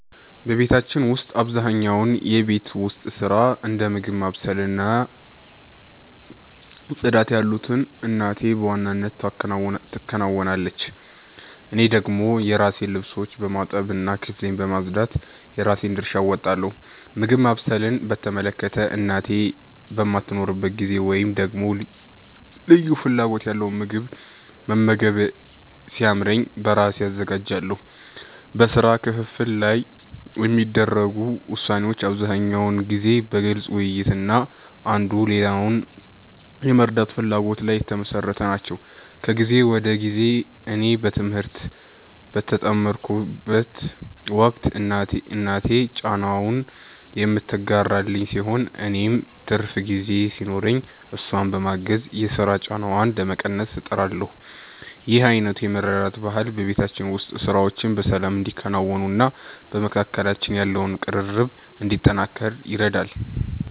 በቤታችን ውስጥ አብዛኛውን የቤት ውስጥ ሥራ፣ እንደ ምግብ ማብሰል እና ጽዳት ያሉትን እናቴ በዋናነት ትከውናለች። እኔ ደግሞ የራሴን ልብሶች በማጠብ እና ክፍሌን በማጽዳት የራሴን ድርሻ እወጣለሁ። ምግብ ማብሰልን በተመለከተ፣ እናቴ በማትኖርበት ጊዜ ወይም ደግሞ ልዩ ፍላጎት ያለው ምግብ መመገብ ሲያምረኝ በራሴ አዘጋጃለሁ። በሥራ ክፍፍሉ ላይ የሚደረጉ ውሳኔዎች አብዛኛውን ጊዜ በግልጽ ውይይት እና አንዱ ሌላውን የመርዳት ፍላጎት ላይ የተመሠረቱ ናቸው። ከጊዜ ወደ ጊዜ እኔ በትምህርት በምጠመድበት ወቅት እናቴ ጫናውን የምትጋራልኝ ሲሆን፣ እኔም ትርፍ ጊዜ ሲኖረኝ እሷን በማገዝ የሥራ ጫናዋን ለመቀነስ እጥራለሁ። ይህ አይነቱ የመረዳዳት ባህል በቤታችን ውስጥ ሥራዎች በሰላም እንዲከናወኑና በመካከላችን ያለው ቅርርብ እንዲጠናከር ይረዳል።